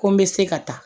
Ko n bɛ se ka taa